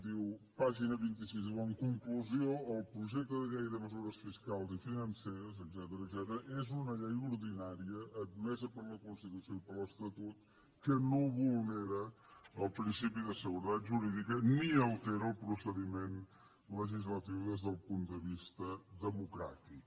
diu pàgina vint sis diu en conclusió el projecte de llei de mesures fiscals i financeres etcètera és una llei ordinària admesa per la constitució i per l’estatut que no vulnera el principi de seguretat jurídica ni altera el procediment legislatiu des del punt de vista democràtic